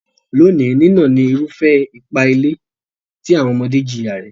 Lónìí, nínà ni irúfẹ́ ipá-ilé tí àwọn ọmọdé jìyà rẹ̀.